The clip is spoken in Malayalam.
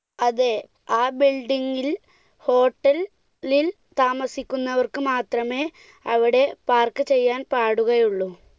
അതെ, ആ building ൽ hotel ൽ താമസിക്കുന്നവർക്ക് മാത്രമേ അവിടെ park ചെയ്യാൻ പാടുകയുളളൂ.